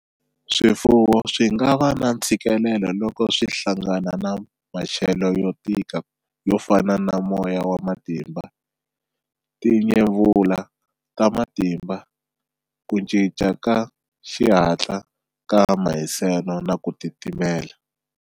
Swifuwo swi nga va na ntshikilelo loko swi hlangana na maxelo yo tika yo fana na moya wa matimba, timyevula ta matimba, ku cinca ka xihatla ka mahiselo na ku timitela.